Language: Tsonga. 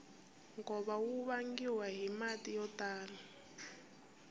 nkova wu vangiwa hi mati yo tala